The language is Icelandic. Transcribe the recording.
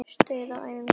Stuð á æfingum þar!